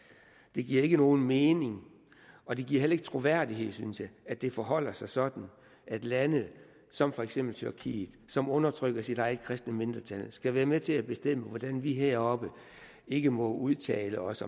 det giver ikke nogen mening og det giver heller ikke troværdighed synes jeg at det forholder sig sådan at lande som for eksempel tyrkiet som undertrykker sit eget kristne mindretal skal være med til at bestemme hvordan vi heroppe ikke må udtale os